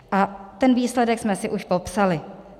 A ten výsledek jsme si už popsali.